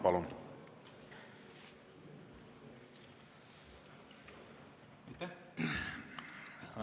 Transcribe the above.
Palun!